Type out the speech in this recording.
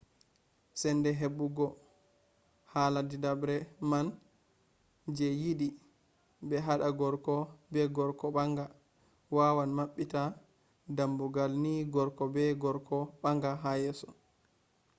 sende hebugo hala didabre man je yidi be hada gorko be gorko banga wawan mabbita dammugal ni gorko be gorko banga ha yeso